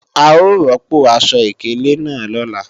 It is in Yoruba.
A ó rọ́pò aṣọ ìkélé náà lọ́la